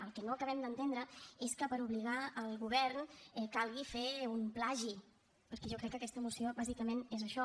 el que no acabem d’entendre és que per obligar el govern calgui fer un plagi perquè jo crec que aquesta moció bàsicament és això